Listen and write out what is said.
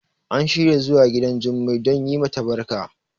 an shirya zuwa gidan Jummai don yi mata barka